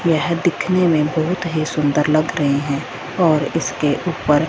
यह दिखने में बहोत ही सुंदर लग रहे हैं और इसके ऊपर--